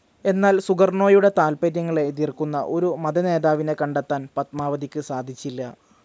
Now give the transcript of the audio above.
എന്നാൽ സുകർണ്ണോയുടെ താൽപ്പര്യങ്ങളെ എതിർക്കുന്ന ഒരു മതനേതാവിനെ കണ്ടെത്താൻ പദ്മാവതിക്ക് സാധിച്ചില്ല.